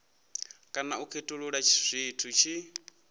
kana u khethulula zwi tshi